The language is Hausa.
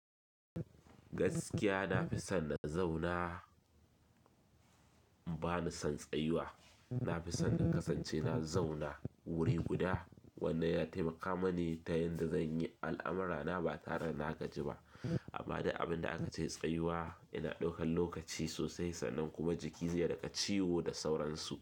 Gaskiya na fi son na zauna ba ni son tsayuwa. Na fi son na kasance na zauna wuri guda wanda ya taimaka mani ta yanda zan yi al'amurana ba tare na gaji ba. Amma da abin da aka ce tsayuwa yana ɗaukan lokaci sosai sannan kuma jiki zai riƙa ciwo da sauransu.